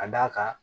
Ka d'a kan